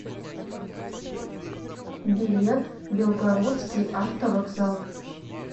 билет белгородский автовокзал